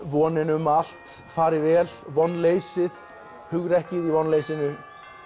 vonin um að allt fari vel vonleysið hugrekkið í vonleysinu